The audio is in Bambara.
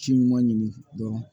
Ci ɲuman ɲini dɔrɔn